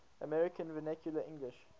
american vernacular english